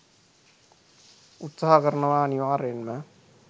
උත්සාහ කරනවා අනිවාර්යෙන්ම.